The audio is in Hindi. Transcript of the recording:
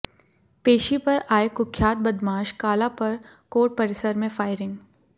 पेशी पर आए कुख्यात बदमाश काला पर कोर्ट परिसर में फायरिंग